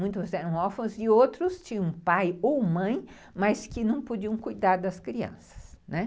Muitos eram órfãos e outros tinham pai e mãe, mas que não podiam cuidar das crianças, né?